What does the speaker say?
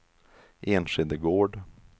Enskede Gård